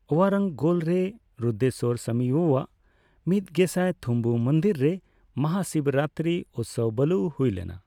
ᱳᱣᱟᱨᱟᱝᱜᱚᱞ ᱨᱮ ᱨᱩᱫᱨᱮᱥᱣᱚᱨ ᱥᱟᱢᱤᱭᱟᱜ ᱢᱤᱛᱜᱮᱥᱟᱭ ᱛᱦᱩᱢᱵᱩ ᱢᱩᱱᱫᱤᱨ ᱨᱮ ᱢᱟᱦᱟᱥᱤᱵᱽᱨᱟᱛᱨᱤ ᱩᱛᱥᱚᱵᱟᱞᱩ ᱦᱩᱭ ᱞᱮᱱᱟ ᱾